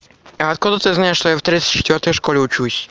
а откуда ты знаешь что я в тридцать четвёртой школе учусь